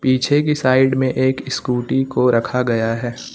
पीछे की साइड में एक स्कूटी को रखा गया है।